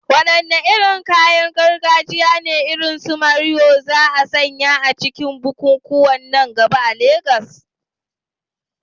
Wadanne irin kayan gargajiya ne, irin su morìwò, za a sanya a cikin bukukuwan nan gaba a Legas?